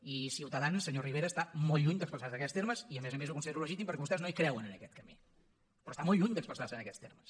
i ciutadans senyor rivera està molt lluny d’expressar se en aquests termes i a més a més ho considero legítim perquè vostès no hi creuen en aquest camí però està molt lluny d’expressar se en aquests termes